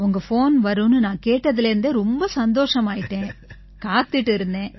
உங்க ஃபோன் வரும்னு நான் கேட்டதிலிருந்தே ரொம்ப சந்தோஷமாயிட்டேன் காத்துக்கிட்டு இருந்தேன்